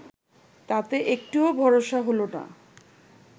তাতে একটুও ভরসা হল না